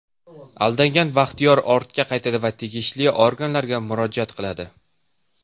Aldangan Baxtiyor ortga qaytadi va tegishli organlarga murojaat qiladi.